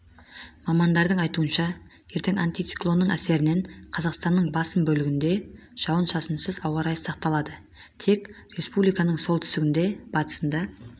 мамандардың айтуынша ертең антициклонның әсерінен қазақстанның басым бөлігінде жауын-шашынсыз ауа райы сақталады тек республиканың солтүстігінде батысында